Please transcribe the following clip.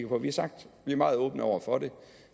på vi har sagt at vi er meget åbne over for det